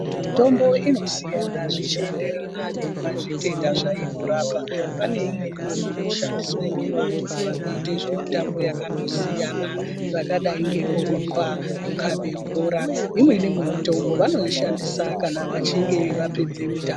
Mitombo inosiyana yeinderana nematenda zveinorapa pane imwe inoshandiswa ngevantu vanoitwa mitambo yakasiyana zvakadai ngekurumba kutambe bhora imweni mitombo vanoishandisa kana vachinge vapedza kutambe bhora.